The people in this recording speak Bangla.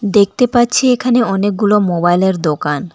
দেখতে পাচ্ছি এখানে অনেকগুলো মোবাইলের দোকান।